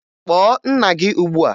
Kpọọ nna gị ugbua!